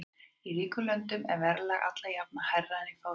Í ríkum löndum er verðlag alla jafna hærra en í fátækum.